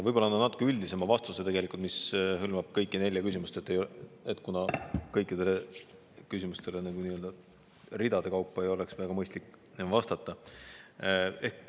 Võib-olla annan natuke üldisema vastuse, mis hõlmab kõiki nelja küsimust, kuna kõikidele küsimustele ridade kaupa ei oleks väga mõistlik vastata.